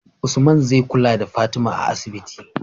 Usman zai kula da fatima a asibiti